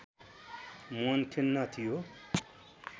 मन खिन्न थियो